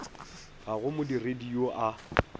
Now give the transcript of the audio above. ga go modiredi yoo a